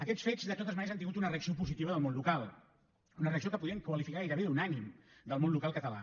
aquests fets de totes maneres han tingut una reacció positiva del món local una reacció que podríem qualificar gairebé d’unànime del món local català